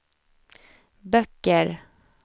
böcker